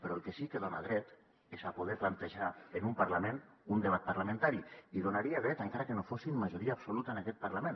però al que sí que dona dret és a poder plantejar en un parlament un debat parlamentari hi donaria dret encara que no fossin majoria absoluta en aquest parlament